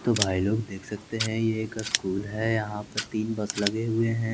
तो भाई लोग देख सकते हैं ये एक अस्कूल है यहाँ पर तीन बस लगे हुए हैं।